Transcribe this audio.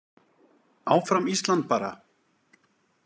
Áfram Ísland bara.